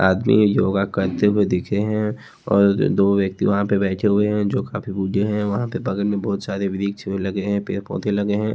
आदमी योगा करते हुए दिखे हैं और दो व्यक्ति वहां पे बैठे हुए हैं जो काफी बूढ़े हैं वहां पे बगल में बहोत सारे वृक्ष में लगे हैं पेड़ पौधे लगे हैं।